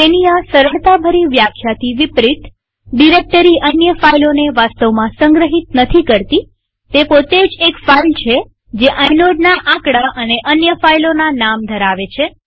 તેની આ સરળતાભરી વ્યાખ્યાથી વિપરીતડિરેક્ટરી અન્ય ફાઈલોને વાસ્તવમાં સંગ્રહિત નથી કરતીતે પોતે જ એક ફાઈલ છે જે આઇનોડના આકડા અને અન્ય ફાઈલોના નામ ધરાવે છે